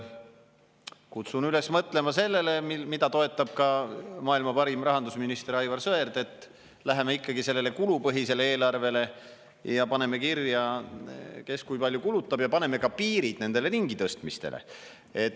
Kutsun üles mõtlema sellele, mida toetab ka maailma parim rahandusminister Aivar Sõerd, et läheme üle ikkagi kulupõhisele eelarvele, paneme kirja, kes kui palju kulutab, ja paneme piirid nendele ringitõstmistele.